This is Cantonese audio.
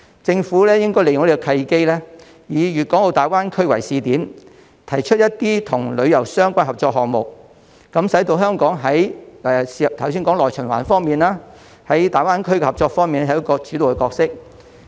政府應該利用這個契機，以粵港澳大灣區為試點，提出與旅遊相關的合作項目，使香港在內循環方面、在大灣區合作方面有指導角色。